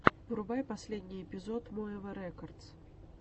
врубай последний эпизод моэва рекодс